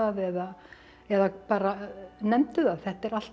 eða eða bara nefndu það þetta er allt